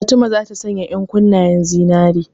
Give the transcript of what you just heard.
Fatima ta sanya ƴankunnen zinare.